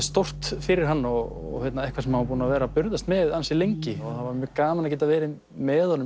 stórt fyrir hann og eitthvað sem hann var búinn að vera að burðast með lengi það var mjög gaman að geta verið með honum